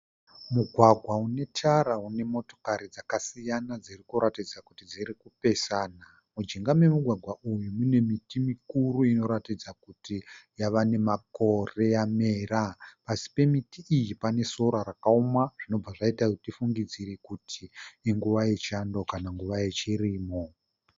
Mugwagwa une tara une motokari dzakasiyana dziri kuratidza kuti dziri kupesana, mujinga memugwagwa uyu mune miti mikuru inoratidza kuti yava nemakore yamera. Pasi pemiti iyi pane sora rakaoma zvinobva zvaita kuti tifungidzire kuti inguva yechando kana nguva yechirimo.